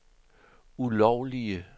ulovlige